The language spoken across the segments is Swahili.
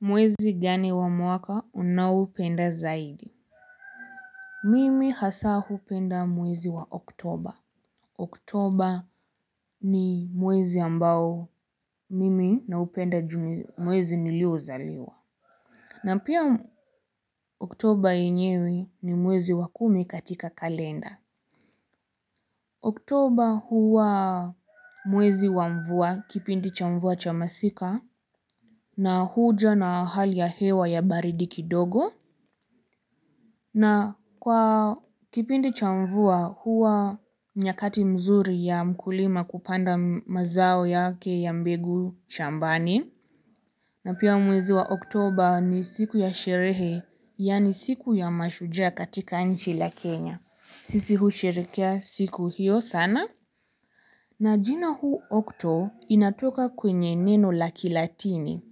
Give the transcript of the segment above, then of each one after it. Mwezi gani wa mwaka unaoupenda zaidi? Mimi hasa hupenda mwezi wa oktober. Oktober ni mwezi ambao mimi naupenda juu mwezi niliozaliwa. Na pia oktober yenyewe ni mwezi wa kumi katika kalenda. Oktober huwa mwezi wa mvua kipindi cha mvua cha masika. Na huja na hali ya hewa ya baridi kidogo. Na kwa kipindi cha mvua, huwa nyakati mzuri ya mkulima kupanda mazao yake ya mbegu shambani. Na pia mwezi wa oktober ni siku ya sherehe, yani siku ya mashujaa katika nchi la Kenya. Sisi husherekea siku hiyo sana. Na jina huu okto inatoka kwenye neno la kilatini.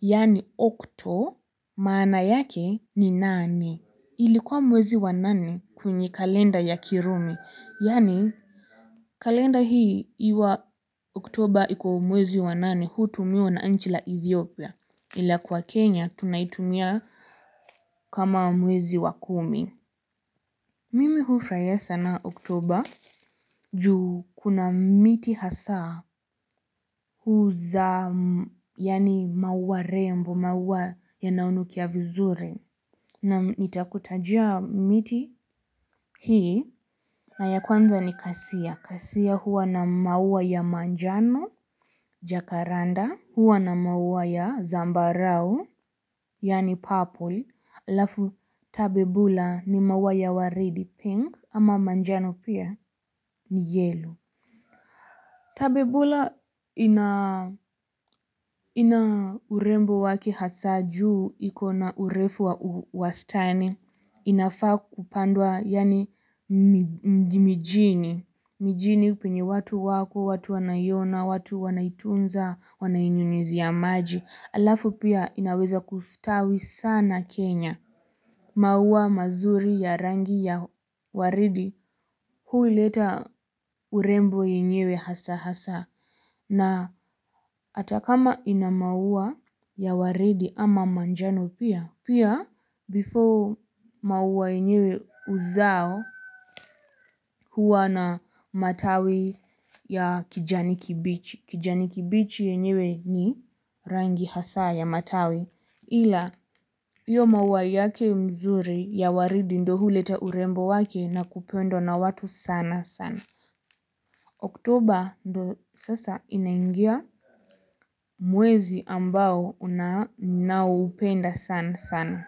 Yani okto maana yake ni nani. Ilikuwa mwezi wa nane kwenye kalenda ya kiromi, yani kalenda hii iwa oktober iko mwezi wa nane, hutumiwa na nchi la Ethiopia, ila kwa Kenya tunaitumia kama mwezi wa kumi. Mimi hufurahia ya sana oktober juu kuna miti hasaa huza yani maua rembo, maua yanayo nukia vizuri na nitakutajia miti hii na ya kwanza ni kasia. Kasia huwa na maua ya manjano, jakaranda, huwa na maua ya zambarau, yani purple, alafu tabebula ni maua ya waridi pink, ama manjano pia ni yellow. Tabebula ina ina urembo wake hasa juu ikona urefu wastani inafaa kupandwa yani mji mijini, mijini penye watu wako, watu wanaiyona, watu wanaitunza, wanainyunyuzia maji, alafu pia inaweza kufutawi sana Kenya. Maua mazuri ya rangi ya waridi huleta urembo yenyewe hasa hasa na atakama ina maua ya waridi ama manjano pia. Pia before maua yenyewe uzao huwa na matawi ya kijani kibichi. Kijani kibichi yenyewe ni rangi hasa ya matawi. Ila, hiyo maua yake mzuri ya waridi ndio huleta urembo wake na kupendwa na watu sana sana. Oktober ndio sasa inaingia mwezi ambao ninaoupenda sana sana.